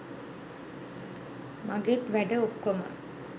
මගෙත් වැඩ ඔක්කොම